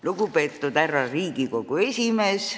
Lugupeetud Riigikogu esimees!